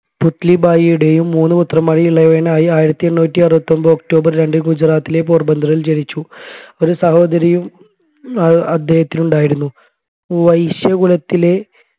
പുത്‌ലിബായിയുടെയും മൂന്ന് പുത്രന്മാരിൽ ഇളയവനായ ആയിരത്തി എണ്ണൂറ്റി അറുപത്തി ഒമ്പത് ഒക്ടോബർ രണ്ട് ഗുജറാത്തിലെ പോർബന്ദറിൽ ജനിച്ചു ഒരു സഹോദാരിയും അദ്ദേഹത്തിനുണ്ടായിരുന്നു വൈശ്യകുലത്തിലെ